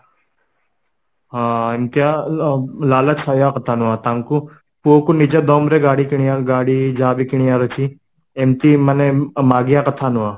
ହଁ ଏମିତିଆ କହିବା କଥା ନୁହଁ ତାଙ୍କୁ ପୁଅ କୁ ନିଜ ଦମରେ ଗାଡି କିଣିଆ ଗାଡି ଯାହାବି କିଣିବାର ଅଛି ଏମିତି ମାନେ ମାଗିବା କଥା ନୁହଁ